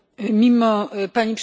Pani Przewodnicząca!